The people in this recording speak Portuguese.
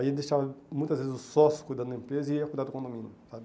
Aí eu deixava, muitas vezes, o sócio cuidando da empresa e eu cuidava do condomínio, sabe?